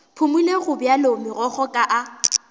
phumole gobjalo megokgo ka a